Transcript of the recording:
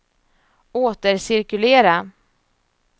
återcirkulera